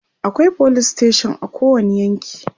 akwai police station a kowani yanki